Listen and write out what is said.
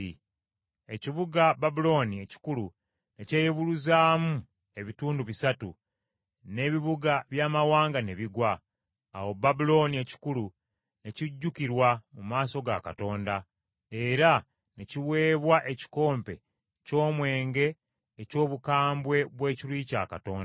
Ekibuga Babulooni ekikulu ne kyeyubuluzaamu ebitundu bisatu, n’ebibuga by’amawanga ne bigwa. Awo Babulooni ekikulu ne kijjukirwa mu maaso ga Katonda, era ne kiweebwa ekikompe ky’envinnyo eky’obukambwe bw’ekiruyi kya Katonda.